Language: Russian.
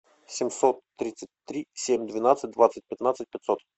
семьсот тридцать три семь двенадцать двадцать пятнадцать пятьсот